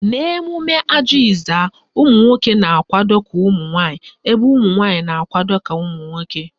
N'emume Ajị Ezza, ụmụnwoke na-akwado ka nwaanyị ebe ụmụnwanyị na-akwado ka nwoke